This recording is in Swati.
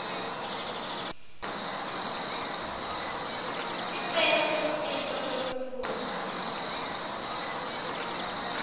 sicelo selusito lwekutfutsa